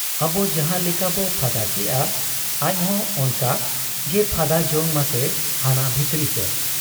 ᱟᱵᱚ ᱡᱟᱦᱟᱸ ᱞᱮᱠᱟᱵᱚ ᱯᱷᱟᱫᱟ ᱠᱮᱜ ᱟ, ᱟᱡᱦᱚᱸ ᱚᱱᱠᱟ ᱜᱮᱭ ᱯᱷᱟᱰᱟ ᱡᱚᱝ ᱢᱟᱥᱮ ᱦᱟᱱᱟ ᱵᱷᱤᱛᱨᱤ ᱥᱮᱫ ᱾